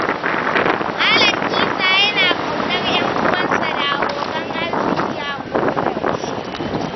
Malam Isa yana ƙaunar 'yanuwansa da abokan arziki a koyaushe.